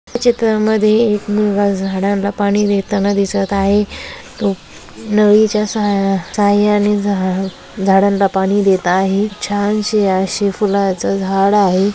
या चित्रा मध्ये एक मुलगा झाडांना पाणी देताना दिसत आहे तो नळी च्या साह्या साह्याने झा झाडांना पाणी देत आहे छान शी अशी फुलांच झाड आहे.